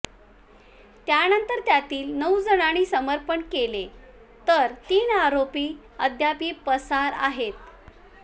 त्यानंतर त्यातील नऊ जणांनी समर्पण केले तर तीन आरोपी अद्यापि पसार आहेत